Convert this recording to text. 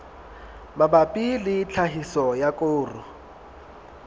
mabapi le tlhahiso ya koro